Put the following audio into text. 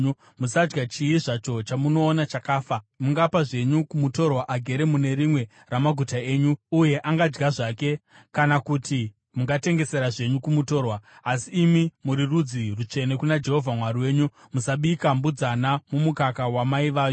Musadya chii zvacho chamunoona chakafa. Mungapa zvenyu kumutorwa agere mune rimwe ramaguta enyu, uye angadya zvake kana kuti mungatengesera zvenyu kumutorwa. Asi imi muri rudzi rutsvene kuna Jehovha Mwari wenyu. Musabika mbudzana mumukaka wamai vayo.